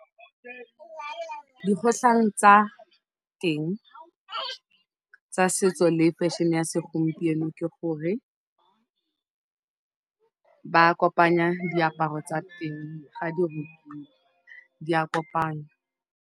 Dikgotlhang tsa teng tsa setso le fashion ya segompieno ke gore ba kopanya diaparo tsa teng ga di rukiwa, di a kopanywa.